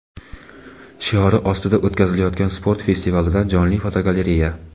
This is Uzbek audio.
shiori ostida o‘tkazilayotgan sport festivalidan jonli fotogalereya.